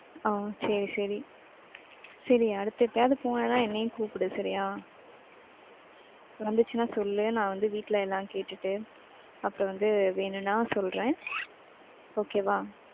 ஆஹ் சரி, சரி. சரி அடுத்து எப்பையாது போன்னைனா என்னையும் கூப்டு சரியா. வந்துச்சுனா சொல்லு, நான் வந்து வீட்டுல என்னானு கேட்டுட்டு அப்பறம் வந்து வேணும்னா சொல்றேன். Okay வ.